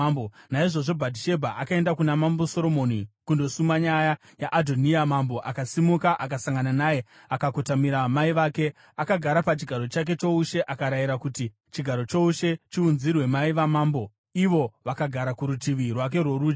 Naizvozvo Bhatishebha akaenda kuna Mambo Soromoni kundosuma nyaya yaAdhoniya. Mambo akasimuka akasangana naye, akakotamira mai vake, akagara pachigaro chake choushe. Akarayira kuti chigaro choushe chiunzirwe mai vamambo, ivo vakagara kurutivi rwake rworudyi.